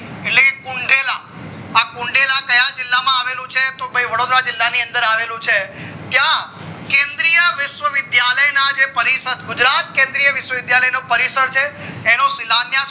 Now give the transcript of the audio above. કુંધેલા આ કુંધેલા ક્યાં જીલ્લા માં આવેલું છે તો ભય વડોદરા જીલ્લા માં આવેલું છે ક્યાં કેન્દ્રિય વિશ્વા વિદ્યાલય ના જે પરિષદ ગુજરાત કેન્દ્રિય વિશ્વા વિશ્યાલય નો પરિષદ છે એનો